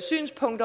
synspunkt